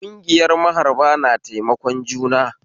Kungiyar maharba na taimakon juna